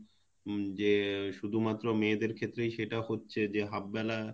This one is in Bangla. উম যে শুধুমাত্র মেয়েদের ক্ষেত্রেই সেটা হচ্ছে যে half বেলা